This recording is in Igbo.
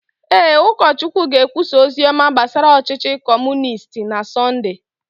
Ee, ụkọchukwu ga-ekwusa ozi ọma gbasara ọchịchị Kọmunisti na Sọnde.